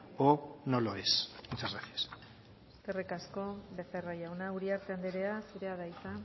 o no lo es muchas gracias eskerrik asko becerra jauna uriarte andrea zurea da hitza